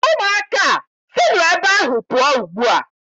Ụmụaka a, sinụ ebe ahụ pụọ ugbu a!